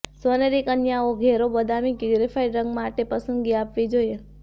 સોનેરી કન્યાઓ ઘેરો બદામી કે ગ્રેફાઇટ રંગમાં માટે પસંદગી આપવી જોઈએ